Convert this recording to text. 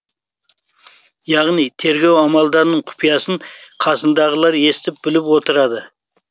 яғни тергеу амалдарының құпиясын қасындағылар естіп біліп отырады